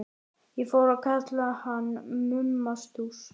Ég fór að kalla hann Mumma Stúss.